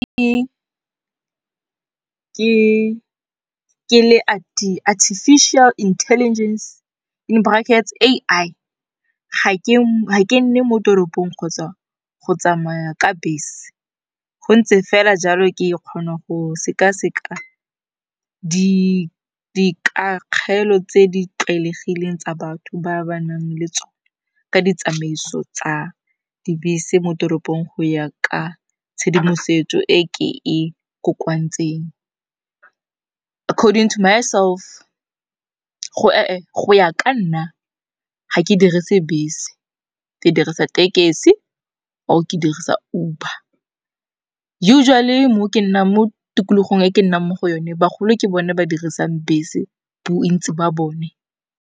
Ke le Artificial Intelligence in brackets A_I ga ke ke nne mo toropong kgotsa go tsamaya ka bese, go ntse fela jalo ke kgona go sekaseka di kakgelo tse di tlwaelegileng tsa batho ba ba nang le tsone ka ditsamaiso tsa dibese mo toropong go ya ka tshedimosetso e ke e kokoantseng. Go ya ka nna ga ke direse bese, ke dirisa tekesi or ke dirisa Uber. Usually mo tikologong e ke nnang mo go yone bagolo ke bone ba dirisang bese bontsi ba bone.